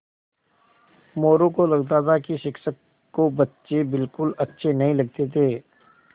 मोरू को लगता था कि शिक्षक को बच्चे बिलकुल अच्छे नहीं लगते थे